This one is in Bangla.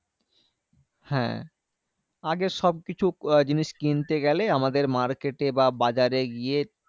হ্যাঁ আগে সবকিছু আহ জিনিস কিনতে গেলে, আমাদের market এ বা বাজারে গিয়ে